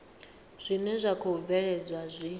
zwine zwa khou bvelela zwi